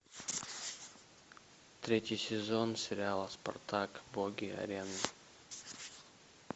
третий сезон сериала спартак боги арены